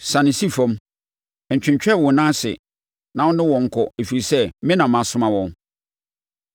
Siane si fam. Ntwentwɛn wo nan ase na wo ne wɔn nkɔ, ɛfiri sɛ, me na masoma wɔn.”